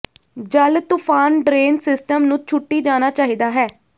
ਜਲ ਤੂਫ਼ਾਨ drain system ਨੂੰ ਛੁੱਟੀ ਜਾਣਾ ਚਾਹੀਦਾ ਹੈ